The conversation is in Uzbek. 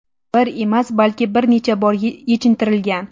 bir emas, balki bir necha bor yechintirilgan.